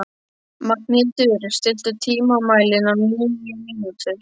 Magnhildur, stilltu tímamælinn á níu mínútur.